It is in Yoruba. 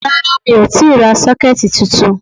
Rárá mi ò tíì ra 'Sókẹ́ẹ̀tì ' titun